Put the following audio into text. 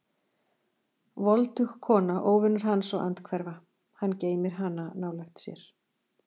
Voldug kona, óvinur hans og andhverfa: hann geymir hana nálægt sér.